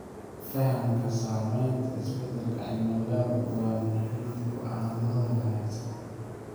Fahamka saameynta isbedelka cimilada waa muhiim go'aamada wanaagsan.